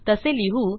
तसे लिहू